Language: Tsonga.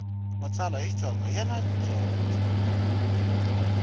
matsalwa ya xitsonga yana dyondzo